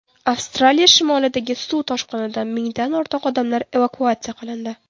Avstraliya shimolidagi suv toshqinidan mingdan ortiq odamlar evakuatsiya qilindi.